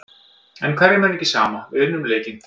En hverjum er ekki sama, við unnum leikinn.